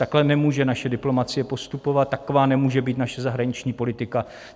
Takhle nemůže naše diplomacie postupovat, taková nemůže být naše zahraniční politika.